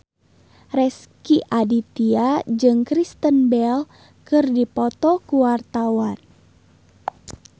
Rezky Aditya jeung Kristen Bell keur dipoto ku wartawan